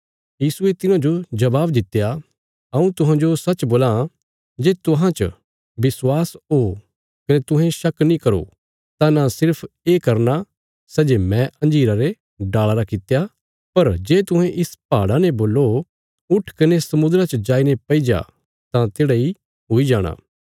यीशुये तिन्हांजो जबाब दित्या हऊँ तुहांजो सच्च बोलां जे तुहां च विश्वास ओ कने तुहें शक नीं करो तां न सिर्फ ये करना सै जे मैं अंजीरा रे डाल़ा रा कित्या पर जे तुहें इस पहाड़ा ने बोल्लो उट्ठ कने समुद्रा च जाईने पैईजा तां तेढ़ा इ हुई जाणा